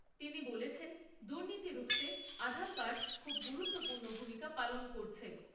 তিনি বলেছেন, দুর্নীতি রুখতে আধার কার্ড খুব গুরুত্বপূর্ণ ভূমিকা পালন করছে।